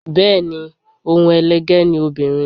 Bẹẹni, ohun elege ni obìnrin.